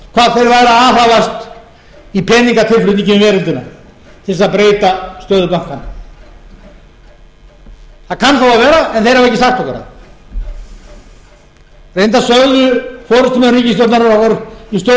hvað þeir væru að aðhafast í peningatilflutningi um veröldina til þess að breyta stöðu bankanna það kann þó að vera en þeir hafa ekki sagt okkur það reyndar sögðu forustumenn ríkisstjórnarinnar okkur í stjórnarandstöðunni ekki heldur frá fundunum